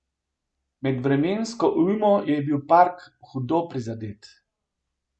Med vremensko ujmo je bil park hudo prizadet.